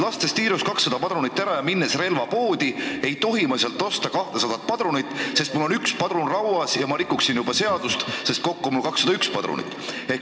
Lastes tiirus 200 padrunit ära ja minnes relvapoodi, ei tohi ma sealt osta 200 padrunit, sest mul on üks padrun rauas ja ma rikuksin juba seadust, sest kokku oleks mul siis 201 padrunit.